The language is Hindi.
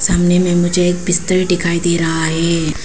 सामने में मुझे एक बिस्तर दिखाई दे रहा है।